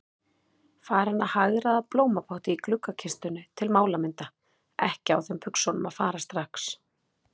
Farin að hagræða blómapotti í gluggakistunni til málamynda, ekki á þeim buxunum að fara strax.